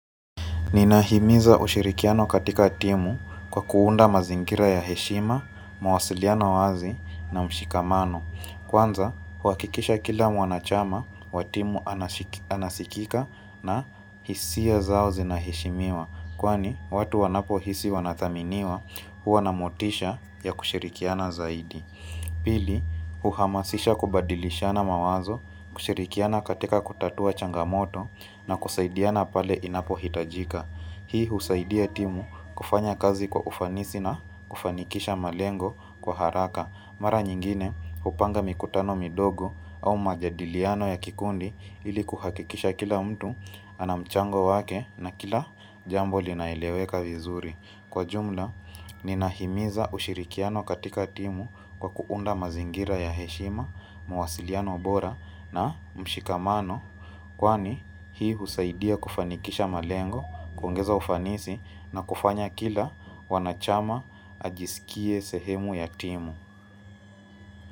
Ninahimiza ushirikiano katika timu kwa kuunda mazingira ya heshima, mawasiliano wazi na mshikamano. Kwanza, huakikisha kila mwanachama, watimu anasikika na hisia zao zinahishimiwa. Kwani, watu wanapohisi wanathaminiwa huwa na motisha ya kushirikiana zaidi. Pili uhamasisha kubadilishana mawazo kushirikiana katika kutatua changamoto na kusaidiana pale inapohitajika. Hii husaidia timu kufanya kazi kwa ufanisi na kufanikisha malengo kwa haraka. Mara nyingine hupanga mikutano midogo au majadiliano ya kikundi ili kuhakikisha kila mtu ana mchango wake na kila jambo linaeleweka vizuri. Kwa jumla, ninahimiza ushirikiano katika timu kwa kuunda mazingira ya heshima, mawasiliano bora na mshikamano, kwani hii husaidia kufanikisha malengo, kuongeza ufanisi na kufanya kila mwanachama ajisikie sehemu ya timu.